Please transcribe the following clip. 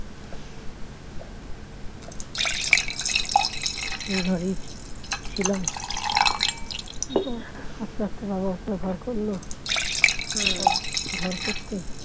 সেই ঘরেই ছিলাম আস্তে আস্তে বাবা উপরে ঘর করল ঘর করতে